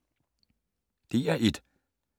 DR1